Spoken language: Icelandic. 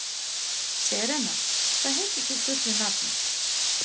Serena, hvað heitir þú fullu nafni?